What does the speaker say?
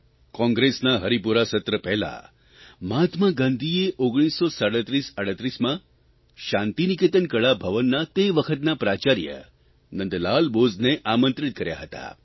કોંગ્રેસના હરિપુરા સત્ર પહેલાં મહાત્મા ગાંધીએ 193738માં શાંતિનિકેતન કળા ભવનના તે વખતના પ્રાચાર્ય નંદલાલ બોઝને આમંત્રિત કર્યા હતા